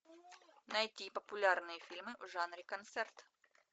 найти популярные фильмы в жанре концерт